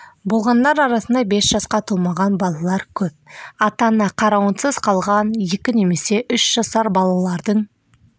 болғандар арасында бес жасқа толмаған балалар көп ата-ана қарауынсыз қалған екі немесе үш жасар балалардың